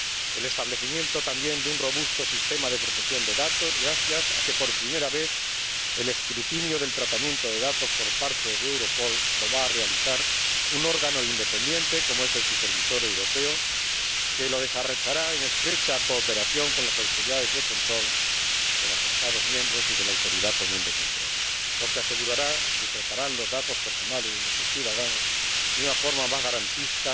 El establecimiento, asimismo, de un robusto sistema de protección de datos, gracias a que por primera vez el escrutinio del tratamiento de datos por parte de Europol lo va a realizar un órgano independiente —como es el Supervisor Europeo—, que lo desarrollará en estrecha cooperación con las autoridades de control de los Estados miembros y la autoridad común de control, lo que asegurará que los datos personales de nuestros ciudadanos se tratarán de una forma más garantista